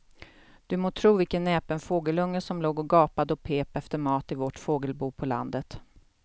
Du må tro vilken näpen fågelunge som låg och gapade och pep efter mat i vårt fågelbo på landet.